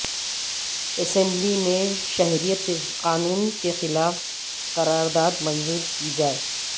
assembly میں شہریت قانون کے خلاف قرارداد منظور کی جائے